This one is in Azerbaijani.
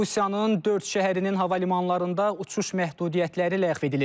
Rusiyanın dörd şəhərinin hava limanlarında uçuş məhdudiyyətləri ləğv edilib.